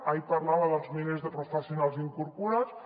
ahir parlava dels milers de professionals incorporats